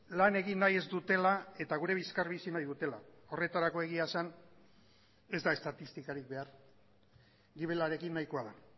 lan egin nahi ez dutela eta gure bizkar bizi nahi dutela horretarako egia esan ez da estatistikarik behar gibelarekin nahikoa da